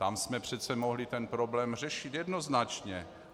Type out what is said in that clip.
Tam jsme přece mohli ten problém řešit jednoznačně.